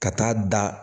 Ka taa da